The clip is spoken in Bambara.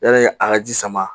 Yanni a ka ji sama